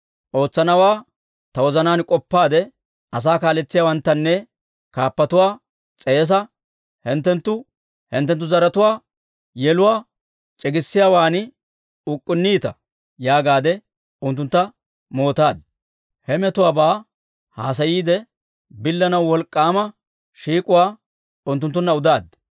Ootsanawaa ta wozanaan k'oppaade, asaa kaaletsiyaawanttanne kaappatuwaa s'eesaade: «Hinttenttu hinttenttu zaratuwaa yeluwaa c'iggissiyaawan uk'k'unniita» yaagaadde unttuntta mootaaddi. He metuwaabaa haasayiide billanaw wolk'k'aama shiik'uwaa unttunttunna udaad.